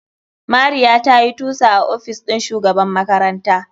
Mariya tayi tusa a ofis ɗin shugaban makaranta.